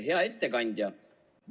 Hea ettekandja!